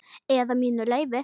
Eða mínu leyfi.